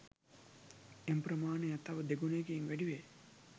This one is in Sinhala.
එම ප්‍රමාණය තව දෙගුණයකින් වැඩි වේ